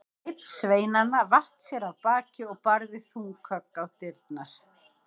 Einn sveinanna vatt sér af baki og barði þung högg á dyrnar.